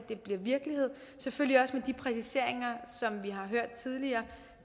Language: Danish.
virkelighed selvfølgelig også med de præciseringer som vi har hørt tidligere